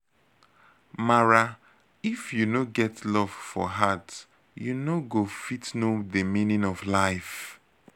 mara if you no get love for heart u no go fit know de meaning of life